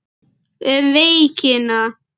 Um veikina